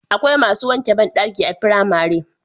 Akwai masu wanke bandaki a firamare